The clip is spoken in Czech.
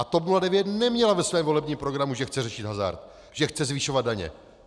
A TOP 09 neměla ve svém volebním programu, že chce řešit hazard, že chce zvyšovat daně.